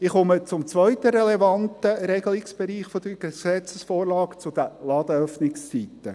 Ich komme zum zweiten relevanten Regelungsbereich dieser Gesetzesvorlage, den Ladenöffnungszeiten.